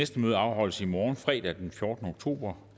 nato